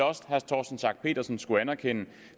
også herre torsten schack pedersen skulle anerkende